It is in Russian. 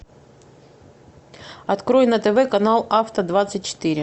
открой на тв канал авто двадцать четыре